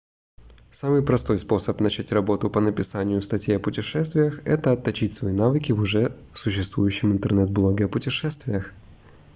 самый простой способ начать работу по написанию статей о путешествиях это отточить свои навыки в уже существующем интернет-блоге о путешествиях